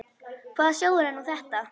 Hvaða sjóður er nú þetta?